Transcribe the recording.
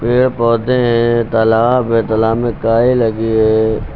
पेड़ पौधे है तालाब है तालाब में काई लगी है।